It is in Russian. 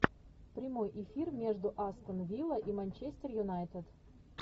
прямой эфир между астон вилла и манчестер юнайтед